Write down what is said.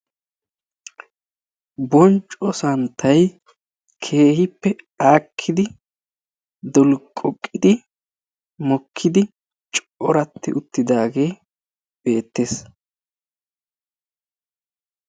Boncco santtay keehippe aakki mokkiddi dolqqoqiddi mokidaage beetes.